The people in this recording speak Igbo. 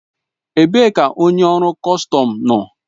Ebee ka onye ọrụ kọstọm nọ?